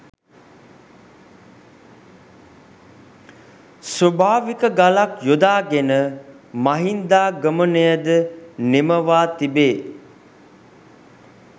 ස්වභාවික ගලක් යොදාගෙන මහින්දාගමනයද නිමවා තිබේ.